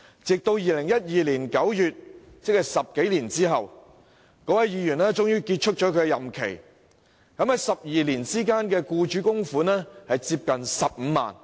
直至2012年9月，即10多年後，該名助理服務的議員任期結束，而12年間的僱主供款接近15萬元。